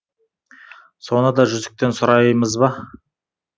соны да жүзіктен сұраймыз ба